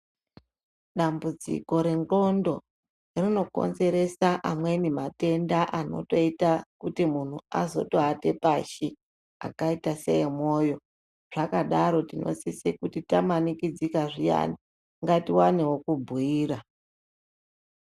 Dambudziko renxondo rinokonzeresa amweni matenda anotoita kuti muntu azotowata awate pashi akaita seemoyo, zvadaro tinosisa kuti kana tamanikidzika zviyani ngatiwane wekubhiira.